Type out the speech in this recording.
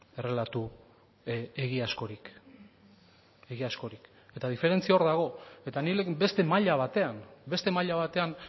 errelato egiazkorik egiazkorik eta diferentzia hor dago eta nik beste maila batean beste maila batean